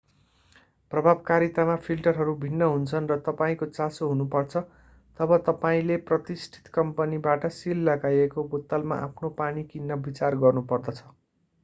प्रभावकारितामा फिल्टरहरू भिन्न हुन्छन् र तपाईंको चासो हुनुपर्छ तब तपाईंले प्रतिष्ठित कम्पनीबाट सिल लगाइएको बोतलमा आफ्नो पानी किन्न विचार गर्नुपर्दछ